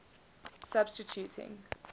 substituting